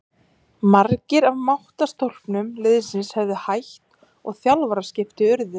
Margir af máttarstólpum liðsins höfðu hætt og þjálfaraskipti urðu.